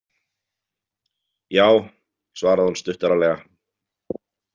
Já, svaraði hún stuttaralega.